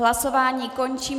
Hlasování končím.